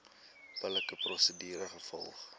billike prosedure gevolg